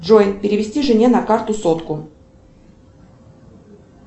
джой перевести жене на карту сотку